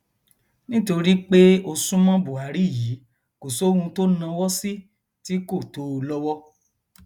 nítorí pé o sún mọ buhari yìí kò sóhun tó náwó sí tí kò tó o lọwọ